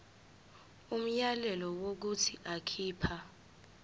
umyalelo wokuthi akhipha